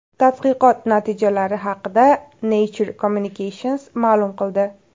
Tadqiqot natijalari haqida Nature Communications ma’lum qildi .